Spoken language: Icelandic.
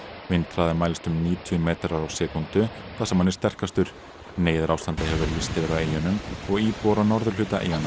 vindhraði mælist um níutíu metrar á sekúndu þar sem hann er sterkastur neyðarástandi hefur verið lýst yfir á eyjunum og íbúar á norðurhluta eyjanna